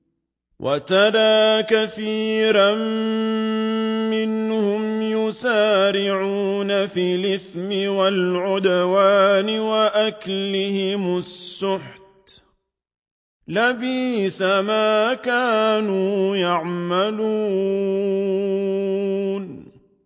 وَتَرَىٰ كَثِيرًا مِّنْهُمْ يُسَارِعُونَ فِي الْإِثْمِ وَالْعُدْوَانِ وَأَكْلِهِمُ السُّحْتَ ۚ لَبِئْسَ مَا كَانُوا يَعْمَلُونَ